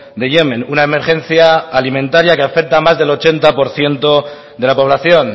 de yemen una emergencia alimentaria que afecta más del ochenta por ciento de la población